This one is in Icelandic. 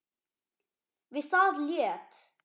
Við það lét